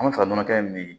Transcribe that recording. An bɛ fɛ ka nɔnɔ kɛnɛ min